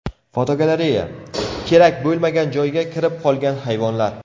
Fotogalereya: Kerak bo‘lmagan joyga kirib qolgan hayvonlar.